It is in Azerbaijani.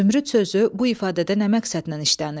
Zümrüd sözü bu ifadədə nə məqsədlə işlənib?